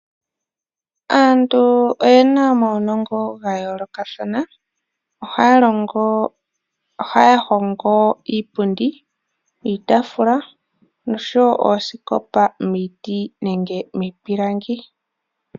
Aantu oyena omawunongo gayoolokathana ohaya hongo iipundi, iitaafula noshowo oosikopa miiti nenge miipilangi.